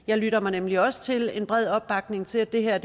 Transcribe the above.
jeg lytter mig nemlig også til en bred opbakning til at det her er